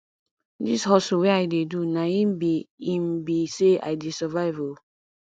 dis hustle wey i dey do na im be im be sey i dey survive o